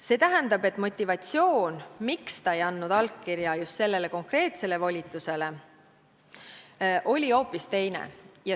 See tähendab, et motivatsioon, miks ta ei andnud allkirja just sellele konkreetsele volitusele, oli hoopis teine.